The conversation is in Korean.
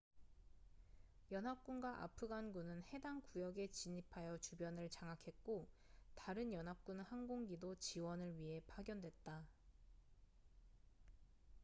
연합군과 아프간군은 해당 구역에 진입하여 주변을 장악했고 다른 연합군 항공기도 지원을 위해 파견됐다